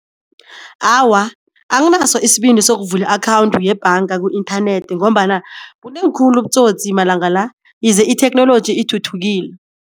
Awa anginaso isibindi sokuvula i-akhawundi yebhaga ku-internet ngombana bunengi khulu ubutsotsi amalangala itheknoloji ithuthukile.